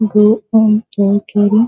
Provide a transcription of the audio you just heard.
गो M